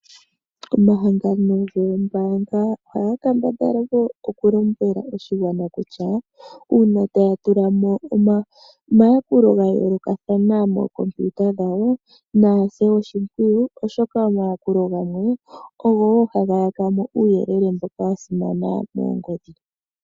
Omahangano goombaanga ohaga kambadhala okulombwela oshigwana kutya uuna taya tula mo omayakulo ga yoolokathana mookompiuta dhawo naya se oshimpwiyu, oshoka omayakulo gawo ogo wo haga yaka mo uuyelele mboka wa simana moongodhi.